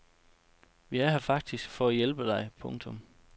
Vi er her faktisk for at hjælpe dig. punktum